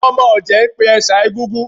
Àwọn ọmọ ọ̀jẹ̀ ń pè ẹ̀ṣà Egúngún